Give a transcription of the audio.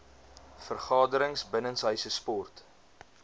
vergaderings binnenshuise sport